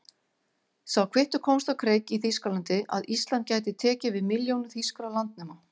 Sá kvittur komst á kreik í Þýskalandi, að Ísland gæti tekið við milljónum þýskra landnema.